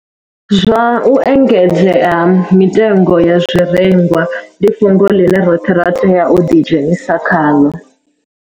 Zwa u engedzea ha mitengo ya zwirengwa ndi fhungo ḽine roṱhe ra tea u ḓidzhenisa khaḽo